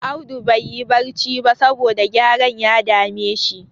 Audu baiyi barci ba, saboda gyaren ya dame shi.